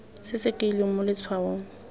se se kailweng mo letshwaong